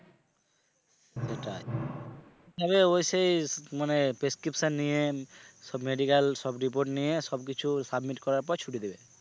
সেটাই তালে ওই সেই মানে prescription নিয়ে সব medical সব report নিয়ে সব কিছু submit করার পর ছুটি দেবে।